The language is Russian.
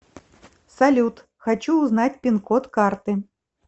салют хочу узнать пин код карты